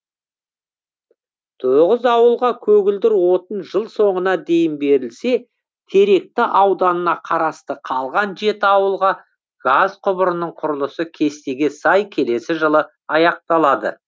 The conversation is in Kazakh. тоғыз ауылға көгілдір отын жыл соңына дейін берілсе теректі ауданына қарасты қалған жеті ауылға газ құбырының құрылысы кестеге сай келесі жылы аяқталады